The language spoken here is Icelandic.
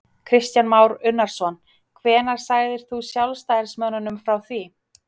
Kristján Már Unnarsson: Hvenær segir þú sjálfstæðismönnum frá því?